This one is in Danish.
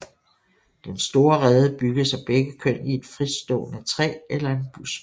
Den store rede bygges af begge køn i et fritstående træ eller en busk